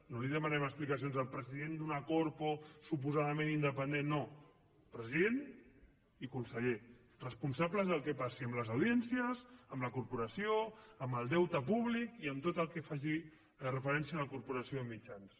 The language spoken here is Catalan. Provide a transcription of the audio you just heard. no li demanarem explicacions al president d’una corpo suposadament independent no president i conseller responsables del que passi amb les audiències amb la corporació amb el deute públic i amb tot el que faci referència a la corporació de mitjans